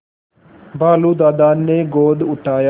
भालू दादा ने गोद उठाया